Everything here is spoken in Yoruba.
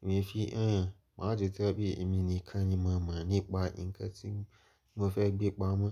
èmi e fi, “Ẹ́n, màá ju tẹ́ ẹ bí èmi nìkan ni mo mọ̀ nípa nǹkan tí mo fẹ́ gbé pamọ́.”